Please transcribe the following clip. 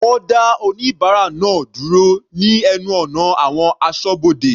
Wọ́n dá oníbárà náà dúró ní ẹnu ọ̀nà àwọn asọ́bodè.